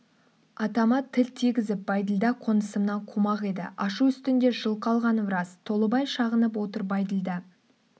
атама тіл тигізіп бәйділда қонысымнан қумақ еді ашу үстінде жылқы алғаным рас толыбай шағынып отыр бәйділда